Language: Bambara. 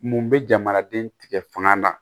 Mun bɛ jamanaden tigɛ fanga na